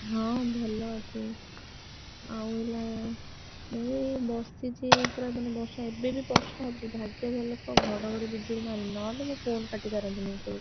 ହଁ ଭଲ ଅଛି ଆଉ ହେଲା ମୁଁ ଏଇ ବସିଛି ଏଇ ପରା ମାନେ ବର୍ଷା ଏବେ ବି ବର୍ଷା ହଉଛି ଭାଗ୍ୟ ଭଲ କହ ଘଡଘଡି ବିଜୁଳି ମାରୁନି ନହେଲେ ମୁଁ ଫୋନ କାଟି ସାରନ୍ତିନି ଏତିକି ବେଳକୁ।